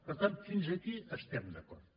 per tant fins aquí estem d’acord